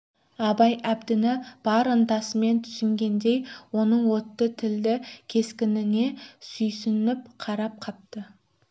абай әбдіні бар ынтасымен түсінгендей оның отты тілді кескініне сүйсініп қарап қапты